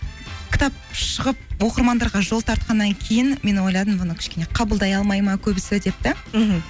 кітап шығып оқырмандарға жол тартқаннан кейін мен ойладым бұны кішкене қабылдай алмайды ма көбісі деп да мхм